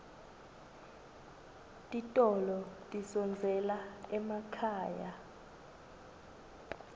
titolo tidondzela emakhaya